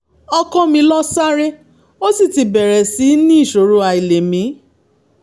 ọkọ mi lọ sáré ó sì ti bẹ̀rẹ̀ sí í ní ìṣòro àìlèmí